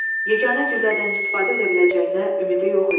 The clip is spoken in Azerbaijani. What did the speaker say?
Yeganə güllədən istifadə edə biləcəyinə ümidi yox idi.